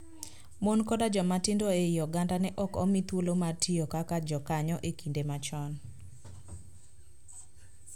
Mon koda joma tindo e I oganda ne ok omi thuolo mar tiyo kaka jakanyo e kinde machon.